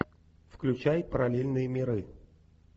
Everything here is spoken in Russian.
включай параллельные миры